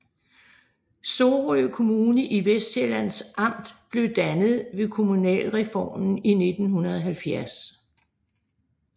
Sorø Kommune i Vestsjællands Amt blev dannet ved kommunalreformen i 1970